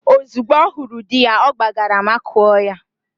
Ozugbo ọ hụrụ di ya, ọ gbagara makụọ ya.